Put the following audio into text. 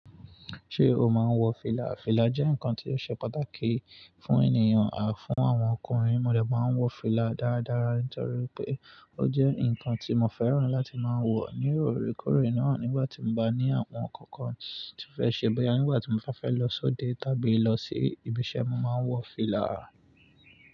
Ṣé o máa ń wọ fìlà? Fìlà jẹ́ ǹkan tí ó ṣe pàtàkì fún ènìyàn à fún àwọn ọkùnrin. Mo dẹ̀ máa ń wọ fìlà dáradára nítorí pé ó jẹ́ ǹkan tí mo fẹ́ràn láti máa ń wọ ní òre kórè náà nígbà tí n bá ní àwọn ǹkan kan tí fẹ́ ṣe bóyá nígbà tí mo bá fẹ́ lọ sóde tàbí lọ sí ibi iṣẹ́, mo máa ń wọ fìlà.